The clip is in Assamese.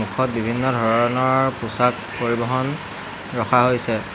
কাষত বিভিন্ন ধৰণৰ পোছাক পৰিবহণ ৰখা হৈছে।